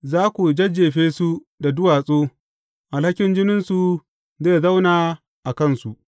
Za ku jajjefe su da duwatsu; alhakin jininsu zai zauna a kansu.